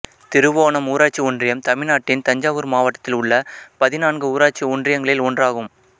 திருவோணம் ஊராட்சி ஒன்றியம் தமிழ்நாட்டின் தஞ்சாவூர் மாவட்டத்தில் உள்ள பதினான்கு ஊராட்சி ஒன்றியங்களில் ஒன்றாகும்